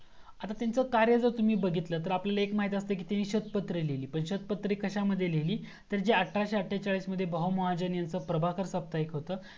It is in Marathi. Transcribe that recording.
आता त्यांच कार्य जर तुम्ही बघितला तर आपल्याला एक माहीत असतं त्यांनी शोध पत्र लिहिली मग शोध पत्र कश्यामद्धे लिहिली तर अठराशे आततेचाळीस मध्ये बहुमहाजन यांचा प्रभाकर साप्ताहिक होतं